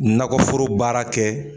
Nakɔforo baara kɛ